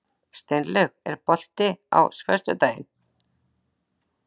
Steinlaug, er bolti á föstudaginn?